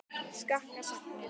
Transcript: Skakkar sagnir.